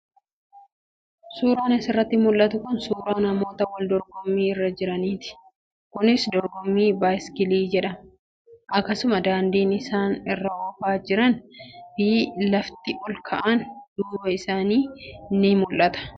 suuraan asirratti mul'atu kun suuraa namoota wal dorgommi irra jiranii ti. Kunis dorgommii baayisaayikilii jedhama. Akkasumas, daandii isaan irra oofaa jiranii fi lafti ol ka'aan duuba isaanii tii ni mul'tu.